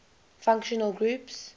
functional groups